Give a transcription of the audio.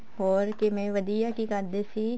ਹੋਰ ਕਿਵੇਂ ਵਧੀਆ ਕੀ ਕਰਦੇ ਸੀ